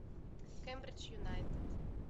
кембридж юнайтед